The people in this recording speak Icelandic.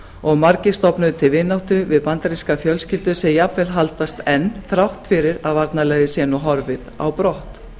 og margir stofnuðu til vináttu við bandarískar fjölskyldur sem jafnvel haldast enn þrátt fyrir að varnarliðið sé nú horfið á brott